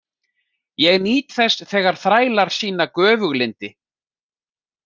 Ég nýt þess þegar þrælar sýna göfuglyndi.